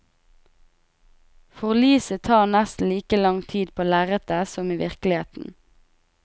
Forliset tar nesten like lang tid på lerretet som i virkeligheten.